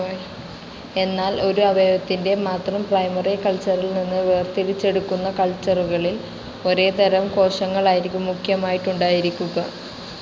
എന്നാൽ ഒരു അവയവത്തിൻ്റെ മാത്രം പ്രൈമറി കൾച്ചറിൽനിന്ന് വേർതിരിച്ചെടുക്കുന്ന കൾച്ചറുകളിൽ ഒരേതരം കോശങ്ങളായിരിക്കും മുഖ്യമായിട്ടുണ്ടായിരിക്കുക.